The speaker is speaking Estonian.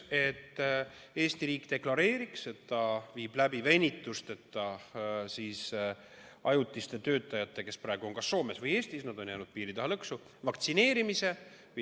Eesti riik deklareeriks, et ta viib vaktsineerimise läbi venitusteta ja ka ajutistel töötajatel, kes praegu on kas Soomes või Eestis piiri taha lõksu jäänud.